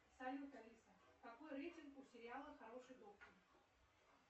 салют алиса какой рейтинг у сериала хороший доктор